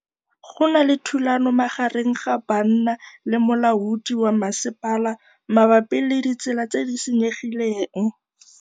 Go na le thulanô magareng ga banna le molaodi wa masepala mabapi le ditsela tse di senyegileng.